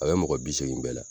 A bɛ mɔgɔ bi seegin bɛɛ la.